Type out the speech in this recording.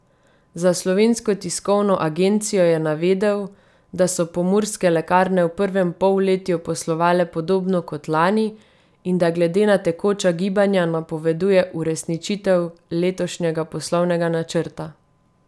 Za Slovensko tiskovno agencijo je navedel, da so Pomurske lekarne v prvem polletju poslovale podobno kot lani in da glede na tekoča gibanja napoveduje uresničitev letošnjega poslovnega načrta.